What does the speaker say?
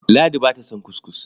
Ladi ba ta son kuskus.